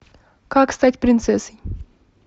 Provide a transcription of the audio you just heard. как стать принцессой